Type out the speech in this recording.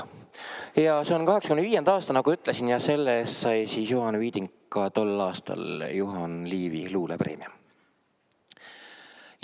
Ja see on 1985. aasta, nagu ütlesin, ja selle eest sai Juhan Viiding tol aastal Juhan Liivi luulepreemia.